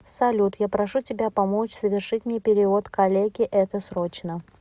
салют я прошу тебя помочь совершить мне перевод коллеге это срочно